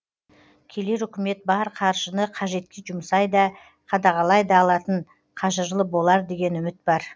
келер үкімет бар қаржыны қажетке жұмсай да қадағалай да алатын қажырлы болар деген үміт бар